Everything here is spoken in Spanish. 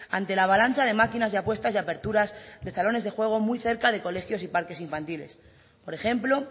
ante la avalancha de máquinas y apuestas y aperturas de salones de juego muy cerca de colegios y parques infantiles por ejemplo